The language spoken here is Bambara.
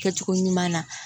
Kɛcogo ɲuman na